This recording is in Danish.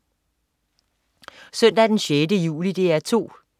Søndag den 6. juli - DR 2: